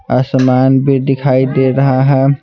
आसमान भी दिखाई दे रहा है।